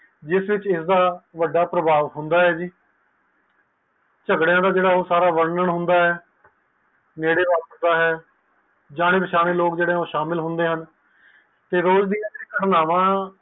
ਜਿਸ ਵਿਚ ਇਸ ਦਾ ਵੱਡਾ ਪ੍ਰਭਾਵ ਹੁੰਦਾ ਹੈ ਜੀ ਚਾਗਰੇਆ ਦਾ ਸਾਰਾ ਵਰਨਣ ਹੁੰਦਾ ਹੈ ਜਾਣੇ ਪਛਾਣੇ ਲੋਕ ਸ਼ਾਮਿਲ ਹੁੰਦੇ ਹਨ